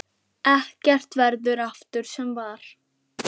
Ekkert verður aftur sem var.